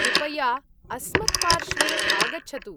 कृपया अस्मत्पार्श्वे आगच्छतु।